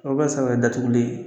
O bɛ ti se ka kɛ datuguli ye